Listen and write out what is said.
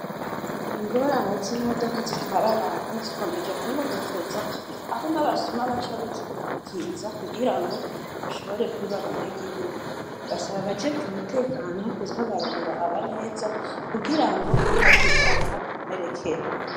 Ingorane z'imodoka zitwara abantu zikomeje kwibonekeza aho n'abasuma baca bikikamkiza kugira ngo bashobore kwiba abanyagihugu, basaba abajeje umutekano kuzabarabira aba neza kugirango ntihagire abahakumerekera.